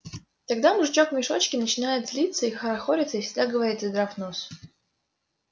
тогда мужичок в мешочке начинает злиться и хорохориться и всегда говорит задрав нос